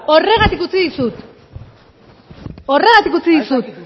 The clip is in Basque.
horregatik utzi dizut horregatik utzi dizut